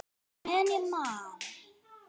Já, meðan ég man.